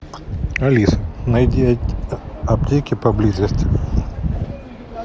алиса найди аптеки поблизости